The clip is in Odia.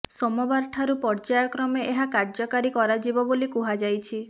ସୋମବାରଠାରୁ ପ୍ରର୍ଯ୍ୟାୟ କ୍ରମେ ଏହା କାର୍ଯ୍ୟକାରୀ କରାଯିବ ବୋଲି କୁହାଯାଇଛି